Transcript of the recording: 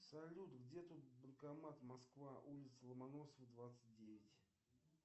салют где тут банкомат москва улица ломоносова двадцать девять